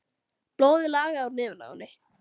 Blóðið lagaði úr nefinu á henni.